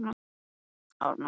Nú fyrst var hún í essinu sínu.